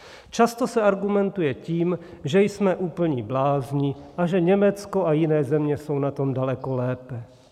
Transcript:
Často se argumentuje tím, že jsme úplní blázni a že Německo a jiné země jsou na tom daleko lépe.